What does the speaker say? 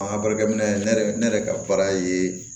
An ka baarakɛ minɛ ne yɛrɛ ne yɛrɛ ka baara ye